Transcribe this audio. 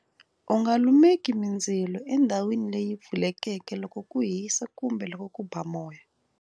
U nga lumeki mindzilo endhawini leyi pfulekeke loko ku hisa kumbe loko ku ba moya.